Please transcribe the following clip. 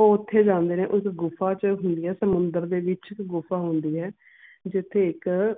ਉਹ ਓਥੇ ਜਾਂਦੇ ਨੇ ਉਸ ਗੁਫਾ ਚ ਹੀਰੇ ਸਮੁੰਦਰ ਦੇ ਵਿਚ ਇੱਕ ਗੁਫਾ ਹੁੰਦੀ ਆ ਜਿਥ੍ਹੇ ਇੱਕ